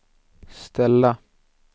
ställa